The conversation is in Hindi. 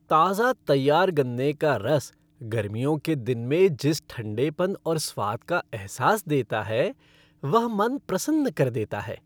ताज़ा तैयार गन्ने का रस गर्मियों के दिन में जिस ठंडेपन और स्वाद का अहसास देता है वह मन प्रसन्न कर देता है।